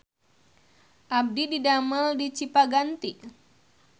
Abdi didamel di Cipaganti